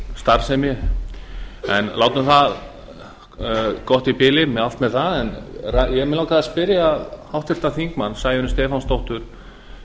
starfsemi en látum það gott í bili allt með það en mig langar að spyrja háttvirtan þingmann sæunni stefánsdóttur